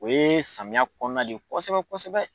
O ye samiya kɔnɔna de ye kosɛbɛ kosɛbɛ.